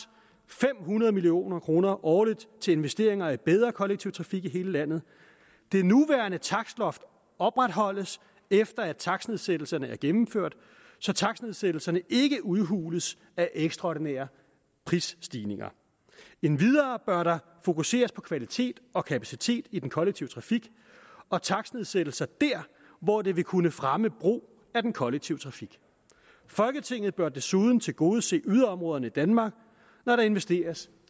fem hundrede million kroner årligt til investeringer i bedre kollektiv trafik i hele landet det nuværende takstloft opretholdes efter at takstnedsættelserne er gennemført så takstnedsættelserne ikke udhules af ekstraordinære prisstigninger endvidere bør der fokuseres på kvalitet og kapacitet i den kollektive trafik og takstnedsættelser der hvor det vil kunne fremme brug af den kollektive trafik folketinget bør desuden tilgodese yderområderne i danmark når der investeres